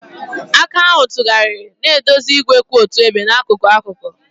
Aka ahụ tụgharịrị, na-eduzi igwe kwụ otu ebe n'akụkụ akụkụ.